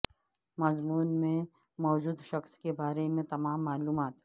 مضمون میں موجود شخص کے بارے میں تمام معلومات